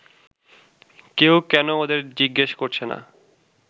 কেউ কেন ওদের জিজ্ঞেস করছে না